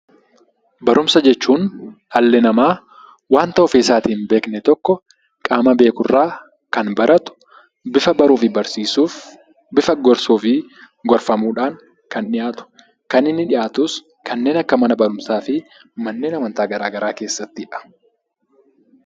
Barumsa jechuun dhalli namaa wanta ofii isaatii hin beekne tokko qaama beekurraa kan baratu bifa baruu fi barsiisuuf bifa gorsuu fi gorfamuutiin kan dhiyaatudha. Kan dhiyaatus kanneen akka manneen amantaa keessattidha.